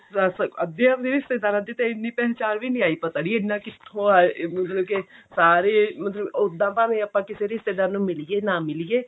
ਬਸ ਅੱਧੀਆ ਦੇ ਰਿਸ਼ੇਦਾਰਾਂ ਦੀ ਇੰਨੀ ਪਹਿਚਾਣ ਵੀ ਨਹੀ ਆਈ ਪਤਾ ਨੀ ਇੰਨਾ ਕਿੱਥੋਂ ਅਹ ਮਤਲਬ ਕਿ ਸਾਰੇ ਓਦਾਂ ਭਾਵੇਂ ਕਿਸੇ ਰਿਸ਼ਤੇਦਾਰ ਨੂੰ ਮਿਲੀਏ ਨਾ ਮਿਲੀਏ